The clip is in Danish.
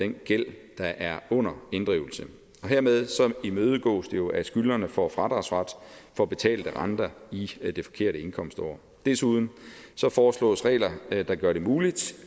den gæld der er under inddrivelse og hermed imødegås det jo at skyldnerne får fradragsret for betalte renter i det forkerte indkomstår desuden foreslås regler der gør det muligt